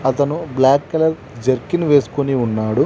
అతను black colour jerkin వేసుకొని ఉన్నాడు.